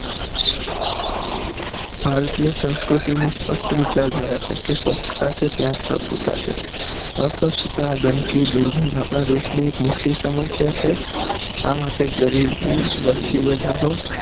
ભારતીય સંસ્કૃતિ ને સ્પષ્ટ વિચારધારા છે કે સ્વચ્છતા છે ત્યાં જ પ્રભુતા છે અસ્વચ્છતા ગંદકી અને દુર્ગંધ આપણાં દેશ ની એક મોટી સમસ્યા છે આ માટે ગરીબી વસ્તી વધારો